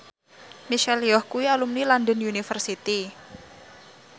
Michelle Yeoh kuwi alumni London University